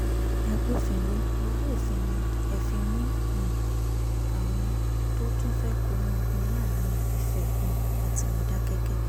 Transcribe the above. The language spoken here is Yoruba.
agbófinró ọwọ́ òfin ni ẹ fi um mú àwọn tó tún fẹ́ kóná ogun láàrin ife um àti mòdákẹ́kẹ́